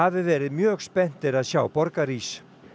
verið mjög spenntir að sjá borgarís